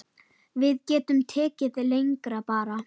Við getum tekið leigara bara.